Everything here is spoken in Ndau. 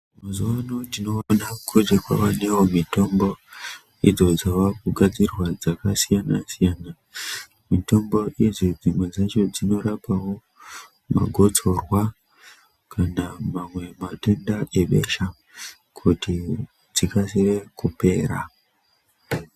Mazuwa ano tinoona kuti kwaanewo mitombo idzo dzaakugadzirwa dzakasiyana siyana. Mitombo idzi dzimwe dzacho dzinorapawo magotsorwa kana mamwe matenda ebesha kuti dzikasire kupera.